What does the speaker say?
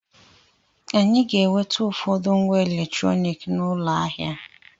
Anyị ga-enweta ụfọdụ ngwa eletrọniki n'ụlọ ahịa.